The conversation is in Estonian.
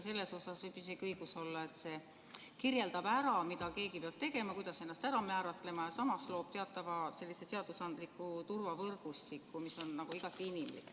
Selles võib isegi õigus olla, et see kirjeldab ära, mida keegi peab tegema, kuidas ennast ära määratlema, ja samas loob teatava seadusandliku turvavõrgustiku, mis on igati inimlik.